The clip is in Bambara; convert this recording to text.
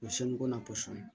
O ye ye